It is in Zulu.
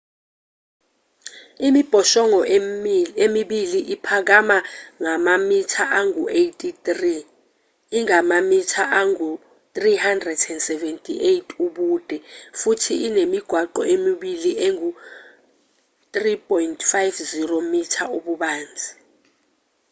imibhoshongo emibili iphakama ngamamitha angu-83 ingamamitha angu-378 ubude futhi inemigwaqo emibili engu-3.50 m ububanzi